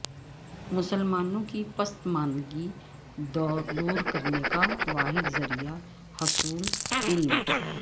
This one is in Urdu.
مسلمانوں کی پسماندگی دور کرنے کا واحد ذریعہ حصول علم